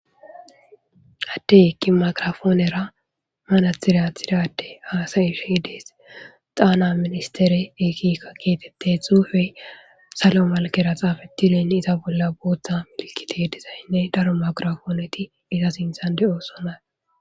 Attey eqqi maqirafoonera manatiratirade haasayishe dees xaana ministere ekika keetetteth hufey salo malkera xaafettileen iza bolla booththa milkite dizaynne daro makirafooneti iza sinthan de7oosona